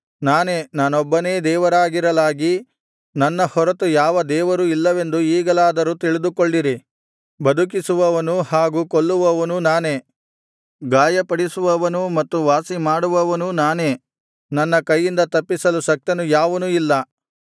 ನಾನೇ ನಾನೊಬ್ಬನೇ ದೇವರಾಗಿರಲಾಗಿ ನನ್ನ ಹೊರತು ಯಾವ ದೇವರೂ ಇಲ್ಲವೆಂದು ಈಗಲಾದರೂ ತಿಳಿದುಕೊಳ್ಳಿರಿ ಬದುಕಿಸುವವನೂ ಹಾಗೂ ಕೊಲ್ಲುವವನೂ ನಾನೇ ಗಾಯಪಡಿಸುವವನೂ ಮತ್ತು ವಾಸಿಮಾಡುವವನೂ ನಾನೇ ನನ್ನ ಕೈಯಿಂದ ತಪ್ಪಿಸಲು ಶಕ್ತನು ಯಾವನೂ ಇಲ್ಲ